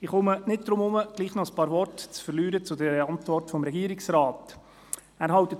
Ich komme nicht umhin, gleichwohl noch ein paar Worte zur Antwort des Regierungsrates zu verlieren.